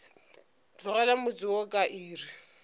tlogela motse wo ka iri